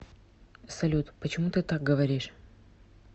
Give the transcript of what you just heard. салют почему ты так говоришь